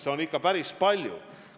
See on ikka päris palju.